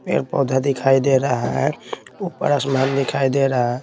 पेड़-पौधा दिखाई दे रहा है ऊपर आसमान दिखाई दे रहा है।